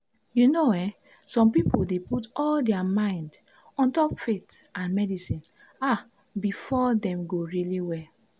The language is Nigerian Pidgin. you know eh some pipo dey put all dia mind ontop faith and medicine ah befor dem go really well?